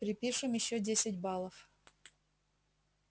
припишем ещё десять баллов